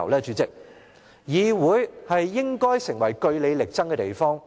主席，議會應成為據理力爭的地方。